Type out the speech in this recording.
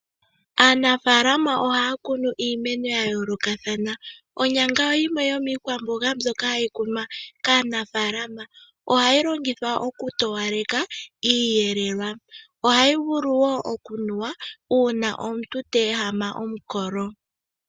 Aanafalama ohaya kunu iimeno yayoolokathana, onyanga oyimwe yomikwamboga mbyoka hayi kunwa kaanafalama. Ohayi longithwa oku towaleka iiyelelwa ohayi vulu oku nuwa uuna omuntu teehama omukolo.